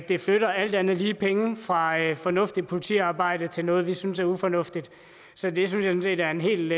det flytter alt andet lige penge fra fornuftigt politiarbejde til noget vi synes er ufornuftigt så det synes jeg er en helt